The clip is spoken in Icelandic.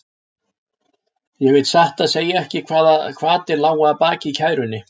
Ég veit satt að segja ekki hvaða hvatir lágu að baki kærunni.